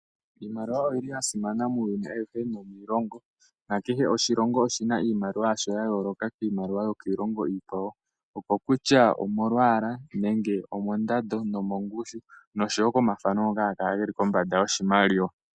Iimaliwa oya simana muuyuni awuhe nomiilongo, nakehe oshilongo oshi na iimaliwa yasho ya yooloka kiimaliwa yokiilongo iikwawo, okokutya omolwaala nenge omondando nomongushu, noshowo komathano ngoka haga kala ge li kombanda yoshimaliwa.